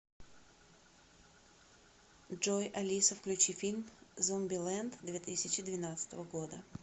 джой алиса включи фильм зомбилэнд две тысячи двенадцатого года